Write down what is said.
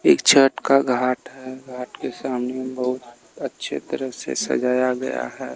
एक छत का घाट है घाट के सामने बहुत अच्छे तरह से सजाया गया है।